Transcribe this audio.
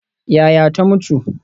Yaya ta mutu?